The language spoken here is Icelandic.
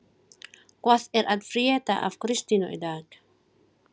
Hvað er að frétta af Kristínu í dag?